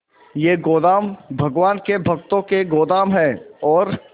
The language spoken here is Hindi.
ये गोदाम भगवान के भक्तों के गोदाम है और